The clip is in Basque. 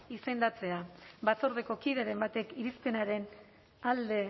izendatzea batzordeko kideren batek irizpenaren alde